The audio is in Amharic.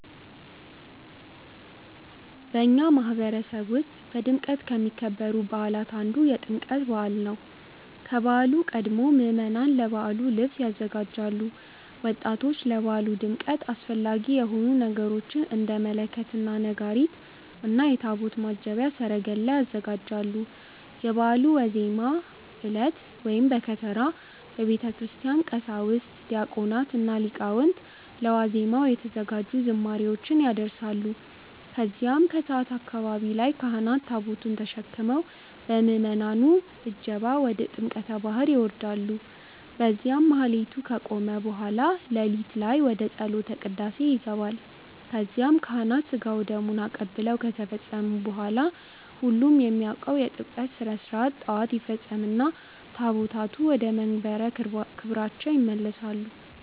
በእኛ ማህበረሰብ ውስጥ በድምቀት አሚከበሩ በዓላት አንዱ የጥምቀት በዓል አንዱ ነው። ከበዓሉ ቀድሞ ምዕመናን ለበዓሉ ልብስ ያዘጋጃሉ፣ ወጣቶች ለበዓሉ ድምቀት አስፈላጊ የሆኑ ነገሮችን እንደ መለከት እና ነጋሪት እና የታቦት ማጀብያ ሰረገላ ያዘጋጃሉ። የበዓሉ ዋዜማ ዕለት(በከተራ) በቤተክርስቲያን ቀሳውስት፣ ዲያቆናት እና ሊቃውንት ለ ዋዜማው የተዘጋጁ ዝማሬዎችን ያደርሳሉ። ከዚያም ከሰዓት አካባቢ ላይ ካህናት ታቦቱን ተሸክመው በምዕመናኑ እጀባ ወደ ጥምቀተ ባህር ይወርዳሉ። በዚያም ማህሌቱ ከተቆመ በኃላ ለሊት ላይ ወደ ጸሎተ ቅዳሴ ይገባል ከዚያም ካህናት ስጋ ወደሙን አቀብለው ከተፈጸመ በኃላ ሁሉም የሚያውቀው የጥምቀት ስርዓት ጠዋት ይፈጸምና ታቦታቱ ወደመንበረ ክብራቸው ይመለሳሉ።